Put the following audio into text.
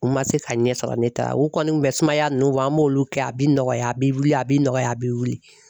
U ma se ka ɲɛ sɔrɔ ne ta la, u kɔni kun bɛ sumaya nunnu bɔ an b'olu kɛ a bɛ nɔgɔya a bɛ wili a bɛ nɔgɔya a bɛ wili.